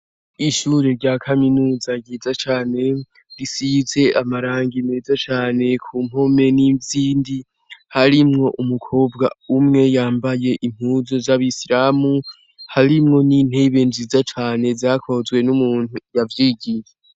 Ishure rya kaminuza ryiza cane, risize amarangi meza cane ku mpome n'izindi, harimwo umukobwa umwe yambaye impuzu z'abisilamu harimwo n'intebe nziza cane zakozwe n'umuntu yavyigiye.